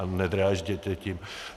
A nedrážděte tím.